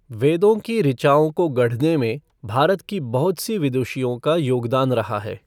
वेदों की ऋचाओं को गढ़ने में भारत की बहुत सी विदुषियों का योगदान रहा है।